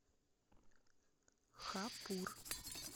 хапур